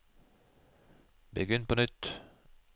begynn på nytt